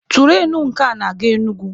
Turainu nke a na-aga Enugwu.